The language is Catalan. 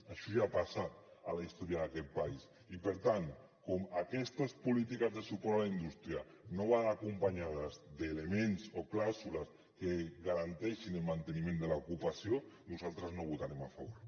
això ja ha passat a la història d’aquest país i per tant com que aquestes polítiques de suport a la indústria no van acompanyades d’elements o clàusules que garanteixin el manteniment de l’ocupació nosaltres no hi votarem a favor